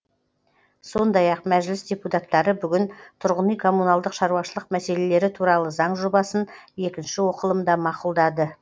сондай ақ мәжіліс депутаттары бүгін тұрғын үй коммуналдық шаруашылық мәселелері туралы заң жобасын екінші оқылымда мақұлдады